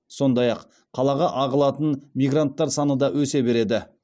сондай ақ қалаға ағылатын мигранттар саны да өсе береді